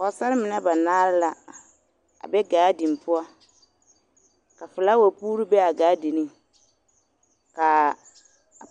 Pɔgesarre mine banaare la a be gaadin poɔ ka filabwa puuri be a gaadiniŋ, k'a